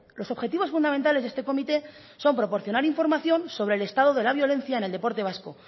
los objetivos fundamentales de este comité son proporcionar información sobre el estado de la violencia en el deporte vasco